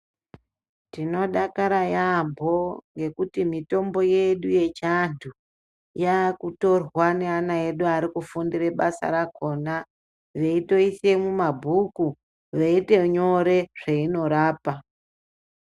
Tinodakara yaamho ngekuti mitombo yedu yechiantu yakutorwa ngeana edu arikufundira basa rakona. Veitoise mumabhuku, veito nyore zvainorapa.